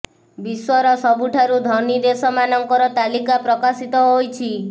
ବିଶ୍ୱର ସବୁଠାରୁ ଧନୀ ଦେଶ ମାନଙ୍କର ତାଲିକା ପ୍ରକାଶିତ ହୋଇଛି